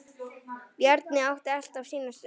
Bjarni átti alltaf sína stund.